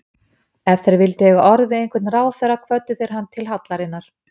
Ef þeir vildu eiga orð við einhvern ráðherra kvöddu þeir hann til hallarinnar.